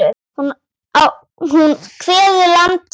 Hún kveður land sitt.